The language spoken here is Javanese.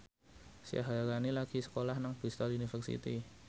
Syaharani lagi sekolah nang Bristol university